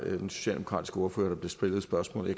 den socialdemokratiske ordfører der blev stillet spørgsmålet